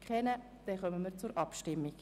Wir kommen zur Abstimmung.